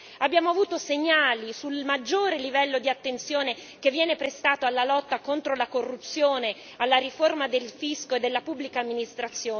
Abbiamo avuto segnali sul maggiore livello di attenzione che viene prestato alla lotta contro la corruzione e alla riforma del fisco e della pubblica amministrazione.